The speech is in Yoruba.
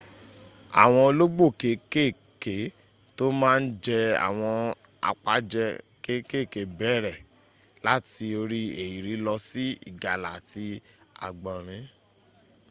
àwọn olóógbò kéèké tó má ń jẹ àwọn àpajẹ kéèkèé bẹ̀rẹ̀ láti orí ehiri lọ sí ìgalà àti àgbọ̀nrín